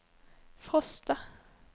Frosta